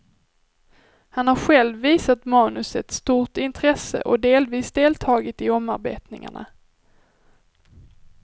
Han har själv visat manuset stort intresse och delvis deltagit i omarbetningarna.